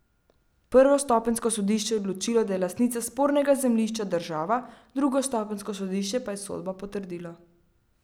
Prvostopenjsko sodišče je odločilo, da je lastnica spornega zemljišča država, drugostopenjsko sodišče pa je sodbo potrdilo.